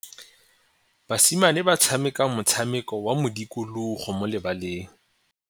Basimane ba tshameka motshameko wa modikologô mo lebaleng.